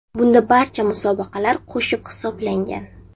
Bunda barcha musobaqalar qo‘shib hisoblangan.